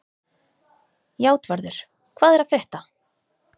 Játvarður, hvað er að frétta?